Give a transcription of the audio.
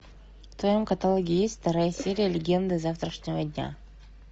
в твоем каталоге есть вторая серия легенды завтрашнего дня